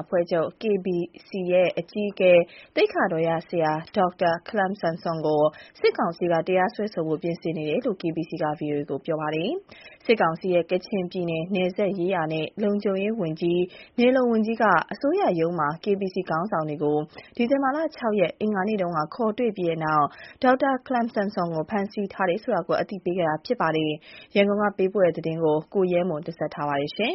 အဖွဲ့ချုပ် KBC ရဲ့အကြီးအကဲ သိက္ခာတော်ရဆရာ ဒေါက်တာ ခလမ်ဆမ် ဆွမ်ကို စစ်ကောင်စီက တရားစွဲဆိုဖို့ ပြင်ဆင်နေတယ်လို့ KBC က VOA ကိုပြောပါတယ်။ စစ်ကောင်စီရဲ့ ကချင်ပြည်နယ် နယ်စပ်ရေးရာနဲ့ လုံခြုံရေးဌာနဝန်ကြီးက အစိုးရရုံးမှာ KBC ခေါင်းဆောင်တွေကို ဒီဇင်ဘာ ၆ ရက် အင်္ဂါနေ့ခေါ်တွေ့ပြီးနောက် ဒေါက်တာခလမ်ဆမ်ဆွမ်ကို ဖမ်းဆီးထားတယ်ဆိုတာ အသိပေးခဲ့တာ ဖြစ်ပါတယ်။ ဒီသတင်း ရန်ကုန်ကပေးပို့လာတာကို ကိုရဲမွန်က ပြောပြမှာပါ။ ဒီဇင်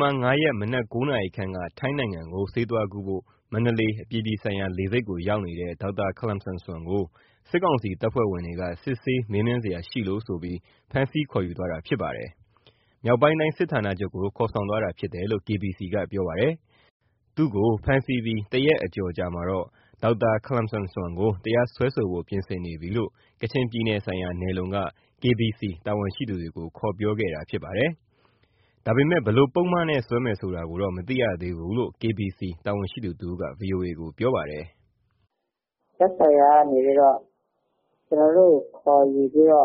ဘာ ၅ ရက်မနက် ၉ နာရီခန့်က ထိုင်းနိုင်ငံကို ဆေးသွားကုဖို့ မန္တလေး အပြည်ပြည်ဆိုင်ရာလေဆိပ်ရောက်နေတဲ့ ဒေါက်တာခလမ်ဆမ်ဆွမ်ကို စစ်ကောင်စီတပ်ဖွဲ့ဝင်တွေက စစ်ဆေး မေးမြန်းစရာရှိလို့ဆိုပြီး ဖမ်းဆီးခေါ်ယူသွားတာ ဖြစ်ပါတယ်။ မြောက်ပိုင်းတိုင်း စစ်ဌာနချုပ်ကို ခေါ်ဆောင်သွားတာဖြစ်တယ်လို့ KBC ကပြောပါတယ်။ သူ့ကို ဖမ်းဆီးပြီး ၁ ရက်ကျော် အကြာမှာတော့ ဒေါက်တာ ခလမ်ဆမ်ဆွမ်ကို တရားစွဲဆိုဖို့ ပြင်ဆင်နေပြီလို့ ကချင်ပြည်နယ်ဆိုင်ရာ နယ်/လုံက KBC တာဝန်ရှိသူတွေကို ခေါ်ပြောခဲ့တာ ဖြစ်ပါတယ်။ ဒါပေမဲ့ ဘယ်လို့ ပုဒ်မနဲ့ စွဲမယ်ဆိုတာ မသိရဘူးလို့ KBC တာဝန်ရှိသူတဦးက ဗွီအိုအေကိုပြောပါတယ်။ " သက်ဆိုင်ရာကနေ ကျနော်တို့ကို ခေါ်ယူ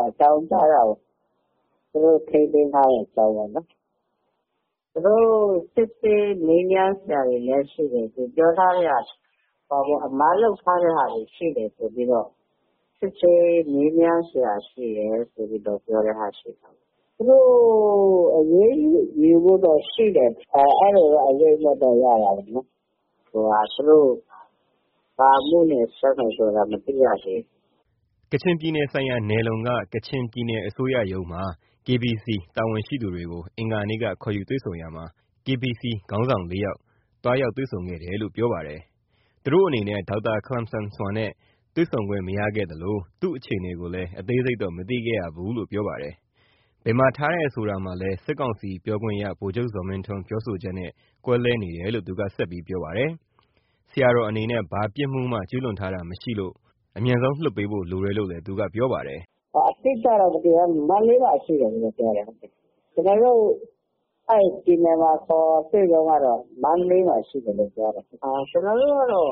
အကြောင်းကြားတာပေါ့။ သူတို့ ထိန်းသိမ်းထားတဲ့ အကြောင်းပေါ့။ သူတို့ စစ်ဆေးမေးမြန်းစရာရှိတယ် သူတို့ပြောတာတော့ အမှား လုပ်ထားတာရှိလို့ သူတို့စစ်ဆေး မေးမြန်းစရာ ရှိတယ်လို့ပြောတာပေါ့။ သူတို့ အရေးယူဖို့တော့ရှိတယ် အဲလိုတော့ အရိပ်အမြွက်ရပါတယ်။ သူတို့ဘာအမှုနဲ့ စွဲမယ်ဆိုတာတော့ မသိရဘူး။" ကချင်ပြည်နယ်ဆိုင်ရာ နယ်လုံက ကချင်ပြည်နယ်အစိုးရရုံးမှာ KBC တာဝန်ရှိသူတွေကို အင်္ဂါနေ့က ခေါ်ယူတွေ့ဆုံတာမှာ KBC ခေါင်းဆောင် ၄ ယောက် သွားရောက် တွေ့ဆုံခဲ့တယ်လို့ ပြောပါတယ်။ သူတို့အနေနဲ့ ဒေါက်တာ ခလမ်ဆမ်ဆွမ်နဲ့ တွေ့ဆုံခွင့် မရခဲ့သလို သူ့အခြေအနေကိုလည်း အသေးစိပ်တော့ မသိခဲ့ရဘူးလို့ပြောပါတယ်။ ဘယ်မှာထားတယ် ဆိုတာမှာလည်း စစ်ကောင်စီပြောခွင့်ရ ဗိုလ်ချုပ်ဇော်မင်းထွန်း ပြောဆိုချက်နဲ့ ကွဲလွဲနေတယ်လို့ သူက ဆက်ပြောပါတယ်။ ဆရာတော်အနေနဲ့ ဘာပြစ်မှုမှ ကျူးလွန်တာ မရှိတာမို့ အမြန်ဆုံး လွှတ်ပေးဖို့ လိုတယ်လို့လည်း သူကပြောပါတယ်။ "အတိအကျတော့ ဘာမှမသိရဘူး ခု မန္တလေးမှာ ရှိတယ်ပဲပြောတယ်။ ကျနော်တို့ကို ခေါ်တွေ့တုန်းကတော့ မန္တလေးမှာ ရှိတယ်လို့ပဲပြောတယ်။ ကျနော်တို့ဘက်ကတော့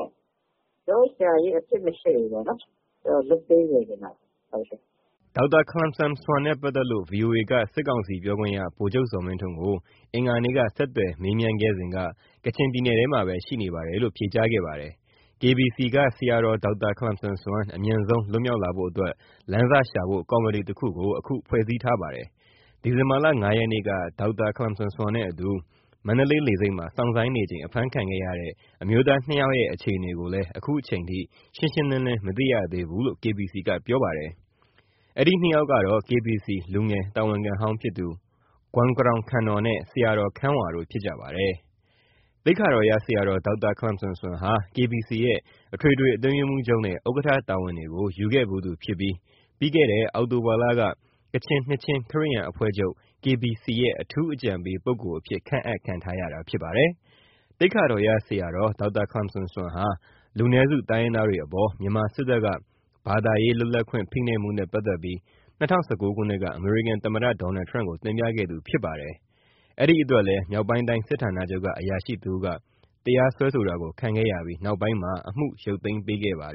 ကျနော်တို့ ဆရာကြီးမှာ အပြစ်မရှိလို့ ပြန်လွှတ်ပေးစေချင်တယ်။" ဒေါက်တာ ခလမ်ဆမ်ဆွမ်နဲ့ ပတ်သက်လို့ VOA က စစ်ကောင်စီပြောခွင့်ရ ဗိုလ်ချုပ်ဇော်မင်းထွန်းကို အင်္ဂါနေ့က ဆက်သွယ်မေးခဲ့စဉ်က ကချင်ပြည်နယ်ထဲမှာပဲ ရှိနေပါတယ်လို့ ဖြေကြားခဲ့ပါတယ်။ KBC က ဆရာတော် ဒေါက်တာ ခလမ်ဆမ်ဆွမ် အမြန်ဆုံး လွတ်မြောက်လာဖို့အတွက် လမ်းစရှာဖို့ ကော်မတီတခုကို အခု ဖွဲ့စည်းထားပါတယ်။ ဒီဇင်ဘာ ၅ ရက်နေ့က ဒေါက်တာ ခလမ်ဆမ်ဆွမ်နဲ့အတူ မန္တလေးလေဆိပ်မှာ စောင့်ဆိုင်းနေချိန် အဖမ်းခံရတဲ့ အမျိုးသား ၂ ယောက်ရဲ့ အခြေအနေကိုလည်း ခုချိန်ထိ ရှင်းရှင်းလင်းလင်း မသိရသေးဘူးလို့ KBC ကပြောပါတယ်။ အဲဒီ ၂ ယောက်ကတော့ KBC လူငယ်တာဝန်ခံဟောင်းဖြစ်သူ ဂွမ်ကရောင်ခန်နော်နဲ့ ဆရာတော် ခမ်းဝါတို့ ဖြစ်ကြပါတယ်။ သိက္ခာတော်ရဆရာတော် ဒေါက်တာ ခလမ်ဆမ်ဆွမ်ဟာ KBC ရဲ့ အထွေထွေအတွင်းရေးမှူးချုပ်နဲ့ ဥက္ကဋ္ဌ တာဝန်တွေကို ယူခဲ့သူဖြစ်ပြီး ပြီးခဲ့တဲ့ အောက်တိုဘာလက ကချင်နှစ်ခြင်း ခရစ်ယာန်အဖွဲ့ချုပ် "KBC ရဲ့ အထူးအကြံပေးပုဂ္ဂိုလ်" အဖြစ် ခန့်အပ် ခံထားရတာဖြစ်ပါတယ်။ သိက္ခာတော်ရဆရာတော် ဒေါက်တာ ခလမ်ဆမ်ဆွမ်ဟာ လူနည်းစု တိုင်းရင်းသားတွေအပေါ် မြန်မာစစ်တပ်က ဘာသာရေး လွတ်လပ်ခွင့် ဖိနှိပ်မှုနဲ့ ပတ်သက်ပြီး ၂၀၁၉ ခုနှစ်က အမေရိကန်သမ္မတ ဒေါ်နယ်ထရမ့်ကို တင်ပြခဲ့သူလည်းဖြစ်ပါတယ်။ အဲဒါအတွက်လည်း မြောက်ပိုင်းတိုင်း စစ်ဌာနချုပ်က အရာရှိတစ်ဦးက တရားစွဲဆိုတာ ခံခဲ့ရပြီး နောက်ပိုင်းမှာ အမှုကို ပြန်လည် ရုပ်သိမ်းပေးခဲ့ပါတ